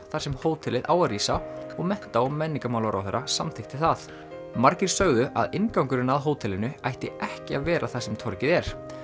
þar sem hótelið á að rísa og mennta og menningarmálaráðherra samþykkti það margir sögðu að inngangurinn að hótelinu ætti ekki að vera þar sem torgið er